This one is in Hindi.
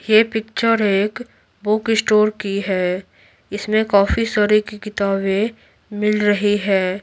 ये पिक्चर हैं एक बुक स्टोर की है इसमें काफी सारे की किताबें मिल रही है।